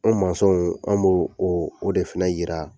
Anw w, an b'o oo o de fɛnɛ yira.